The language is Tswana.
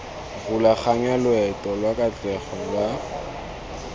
rulaganya loeto lwa katlego lwa